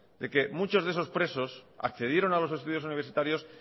de que muchos de esos presos accedieron a los estudios universitarios